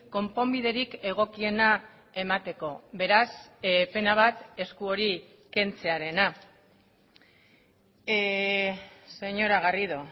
konponbiderik egokiena emateko beraz pena bat esku hori kentzearena señora garrido